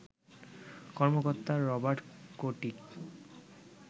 কর্মকর্তা Robert chaotic